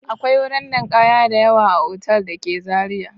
Akwai wuri ninkaya a otal da ke Zariya.